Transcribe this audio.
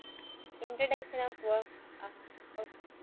Introduction of work